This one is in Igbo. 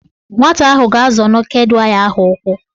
Nwata ahụ ga-azọ neked waya ahụ ụkwụ